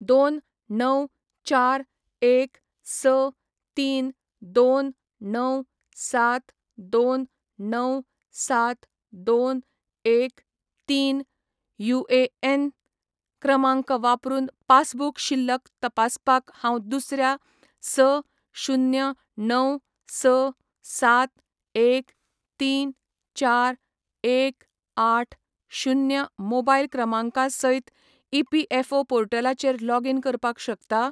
दोन णव चार एक स तीन दोन णव सात दोन णव सात दोन एक तीन युएएन क्रमांक वापरून पासबुक शिल्लक तपासपाक हांव दुसऱ्या स शुन्य णव स सात एक तीन चार एक आठ शुन्य मोबायल क्रमांका सयत ईपीएफओ पोर्टलाचेर लॉगीन करपाक शकता ?